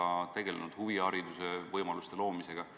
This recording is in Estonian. Ka oleme tegelenud huvihariduse võimaluste loomisega.